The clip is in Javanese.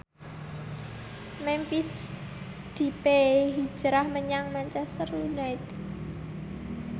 Memphis Depay hijrah menyang Manchester united